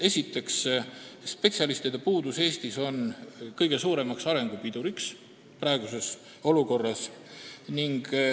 Esiteks, spetsialistide puudus Eestis on kõige suurem arengu pidur praeguses olukorras.